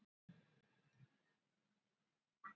Þaðan var hann látinn fara eftir síðasta leiktímabil.